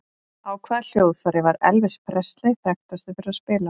Á hvaða hljóðfæri var Elvis Presley þekktastur fyrir að spila á?